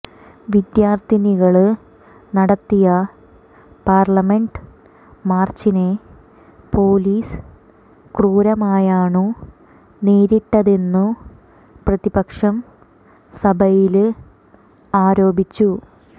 വിദ്യാര്ഥികള് നടത്തിയ പാര്ലമെന്റ് മാര്ച്ചിനെ പോലീസ് ക്രൂരമായാണു നേരിട്ടതെന്നു പ്രതിപക്ഷം സഭയില് ആരോപിച്ചു